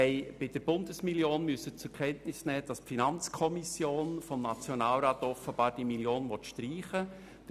Wir mussten zur Kenntnis nehmen, dass die Finanzkommission des Nationalrats die Bundesmillion offenbar streichen will.